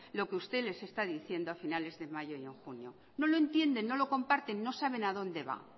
lo que usted les está diciendo a finales de mayo y en junio no lo entienden no lo comparten no saben a donde va